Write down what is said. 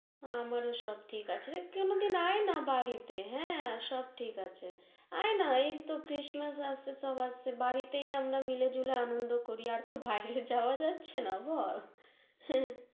আমারও সব ঠিক আছে, রে কোন দিন আয় নারে বাড়িতে, হ্যাঁ, সব ঠিক আছে, আয় না, এই তহ ক্রিসমাস আছে, সব আছে, বাড়িতেই আমরা মিলে ঝুলে আনন্দ করি, আর তহ বাইরে যাওয়া যাচ্ছে না বল